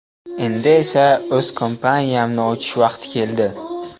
Endi esa o‘z kompaniyamni ochish vaqti keldi”.